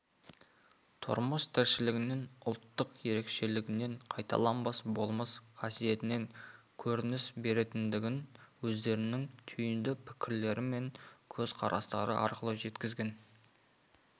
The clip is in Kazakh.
тұрмыс-тіршілігінен ұлттық ерекшелігінен қайталанбас болмыс қасиетінен көрініс беретіндігін өздерінің түйінді пікірлері мен көзқарастары арқылы жеткізген